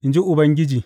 In ji Ubangiji.